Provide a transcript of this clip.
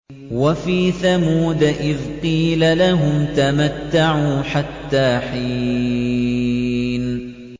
وَفِي ثَمُودَ إِذْ قِيلَ لَهُمْ تَمَتَّعُوا حَتَّىٰ حِينٍ